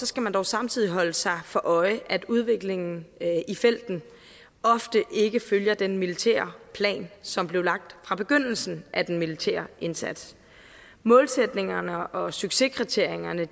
skal man dog samtidig holde sig for øje at udviklingen i felten ofte ikke følger den militære plan som blev lagt fra begyndelsen af den militære indsats målsætningerne og succeskriterierne